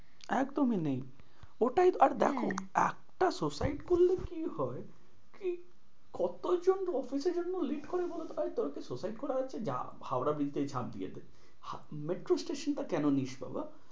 একদমই নেই ওটাই আর দেখো হ্যাঁ একটা suicide করলে কি হয় কি কতোজন office এর জন্য late করে বলতো? আরে তোর suicide করার ইচ্ছা যে হাওড়ার ব্রিজ থেকে ঝাঁপ দিয়ে দে metro station টা কোন নিস বাবা?